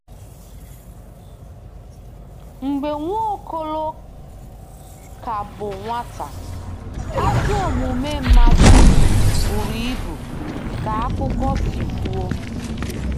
Mgbe Nwokolo ka bụ nwata, “ ajọ omume mmadụ ” buru ibu, ka akụkọ si kwuo.